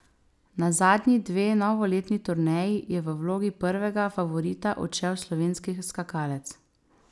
Na zadnji dve novoletni turneji je v vlogi prvega favorita odšel slovenski skakalec.